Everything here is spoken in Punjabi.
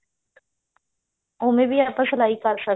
ਓਵੇਂ ਵੀ ਆਪਾਂ ਸਲਾਈ ਕਰ ਸਕਦੇ ਹਾਂ